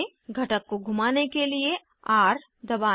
घटक को घुमाने के लिए र दबाएं